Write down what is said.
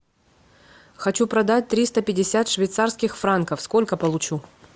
хочу продать триста пятьдесят швейцарских франков сколько получу